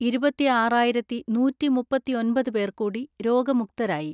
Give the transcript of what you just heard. ഇരുപത്തിആറായിരത്തിനൂറ്റിമുപ്പത്തിഒൻപത് പേർ കൂടി രോഗമുക്‌തരായി.